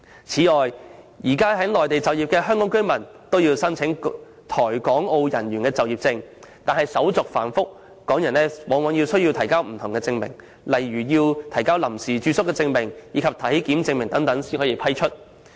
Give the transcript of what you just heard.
此外，現時在內地就業的香港居民均須申請《台港澳人員就業證》，但申請手續繁複，往往需要提交不同證明如臨時住宿證明、體檢證明等才可獲批。